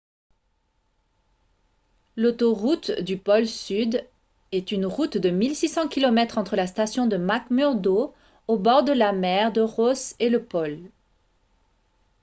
l'autoroute du pôle sud est une route de 1 600 km entre la station de mcmurdo au bord de la mer de ross et le pôle